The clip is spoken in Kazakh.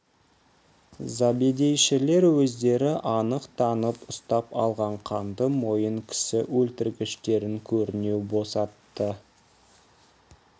забедейшілер өздері анық танып ұстап алған қанды мойын кісі өлтіргіштерін көрінеу босатты